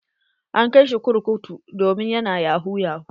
An kai shi kurkutu domin yana yahu yahu.